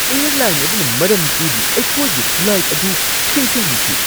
Airline ꯑꯗꯨꯅ ꯃꯔꯝ ꯄꯤꯗꯅ ꯑꯩꯈꯣꯏꯒꯤ ꯐ꯭ꯂꯥꯏꯠ ꯑꯗꯨ ꯊꯦꯡꯊꯍꯟꯈꯤ ꯫